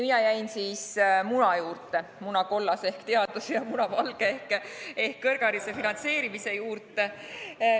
Mina jäin siis muna juurde – munakollase ehk teaduse ja munavalge ehk kõrghariduse finantseerimise juurde.